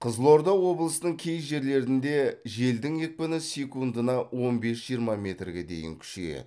қызылорда облысының кей жерлерінде желдің екпіні секундына он бес жиырма метрге дейін күшейеді